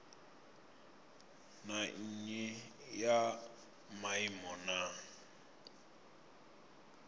na nnyi ya maimo na